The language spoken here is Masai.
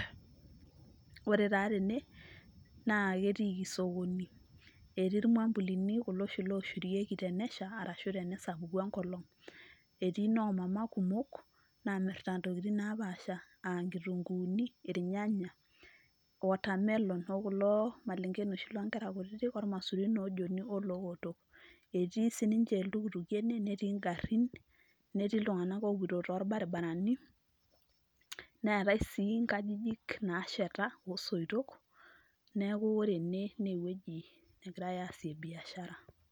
Ore taa tene naa ketiiki sokoni, etii ilmambulini kulo oshi ooshurikie tenesha arashu tenesapuku ongolong, etii noo mama namirita intokitin napaasha aa enkituugu, ilnyanya, otamelon, oo malengen oshi kutiti loo ngera, olmaisurin oo Joni oloo oto, etii sininje iltukutuki metii ingarin, metii iltunganak oo poito too baribarani, neetai sii inkajijik naasheta oo soito. Neeku ore ene naa ewoji negirai aasie biashara.